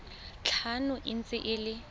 tlhano e ntse e le